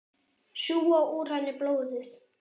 Sjúga úr henni blóðið.